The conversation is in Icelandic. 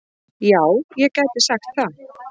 Já, ég gæti sagt það.